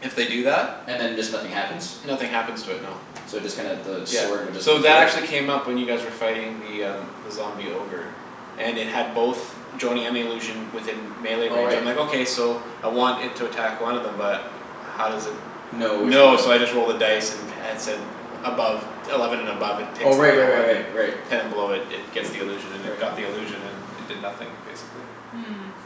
If they do that And then just nothing happens? Nothing happens to it no. So it just kinda the Yeah, sword would just so go through that it? actually came up when you guys were fighting the um The zombie ogre. And it had both Joany and the illusion within Melee Oh range right. I'm like okay so I want it to attack one of them but How does it No which know one? so I just rolled a dice. And at said above Eleven and above it Oh picks the right right real right one right and right. Ten and below it gets the illusion and it Right. Got the illusion and it did nothing basically.